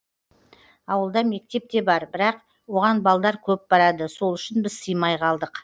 ауылда мектеп те бар бірақ оған балдар көп барады сол үшін біз сыймай қалдық